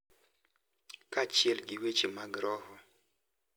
Kaachiel gi weche mag roho, .